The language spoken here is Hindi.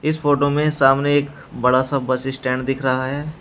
इस फोटो में सामने एक बड़ा सा बस स्टैंड दिख रहा है।